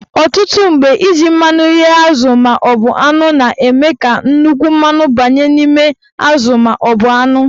Ọtụtụ mgbe, iji mmanụ ghee azụ maọbụ anụ na-eme ka nnukwu mmanụ banye n'ime azụ maọbụ anụ